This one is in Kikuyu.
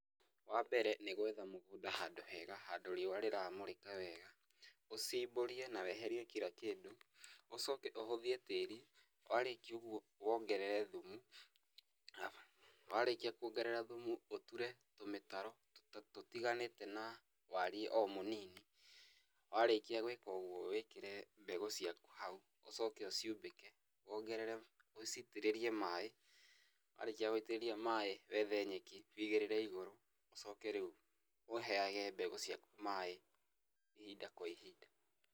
Wa mbere nĩ gwetha mũgũnda handũ hega handũ riua rĩramũrĩka wega, ucimbũrie na weherie kira kĩndũ, ũcoke ũhũthie tĩri. Warĩkia ũguo wongerere thumu, warĩkia kuongerera thumu ũture tũmĩtaro tũtiganĩte na wariĩ o mũnini. Warĩkia gwĩka ũguo wĩkĩre mbegu ciakũ haũ ũcoke ũciumbĩke, wongerere, ũciitĩrĩrie maĩ, warĩkia gũitĩrĩria maĩ wethe nyeki wũigĩrire igũrũ, ũcoke rĩũ ũheage mbegu ciakũ maĩ ihinda kwa ihinda.